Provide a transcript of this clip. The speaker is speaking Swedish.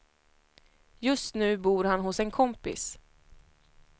Just nu bor han hos en kompis.